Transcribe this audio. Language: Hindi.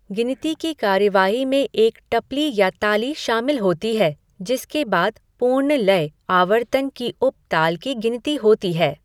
गिनती की कार्रवाई में एक टपली या ताली शामिल होती है, जिसके बाद पूर्ण लय आवर्तन की उप ताल की गिनती होती है।